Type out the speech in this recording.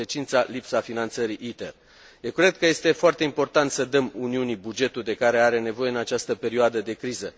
Consecința lipsa finanțării ITER. Eu cred că este foarte important să dăm Uniunii bugetul de care are nevoie în această perioadă de criză.